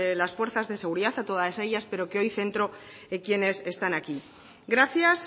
las fuerzas de seguridad a todas ellas pero que hoy centro en quienes están aquí gracias